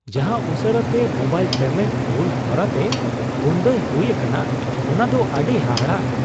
ᱡᱟᱦᱟᱸ ᱩᱥᱟᱹᱨᱟᱛᱮ mobile payment ᱢᱩᱞ ᱦᱚᱨᱟᱛᱮ ᱵᱚᱱᱚᱫᱚᱭ ᱦᱩᱭ ᱟᱠᱟᱱᱟ ᱚᱱᱟ ᱫᱚ ᱟᱹᱰᱤ ᱦᱟᱦᱟᱲᱟᱜ ᱾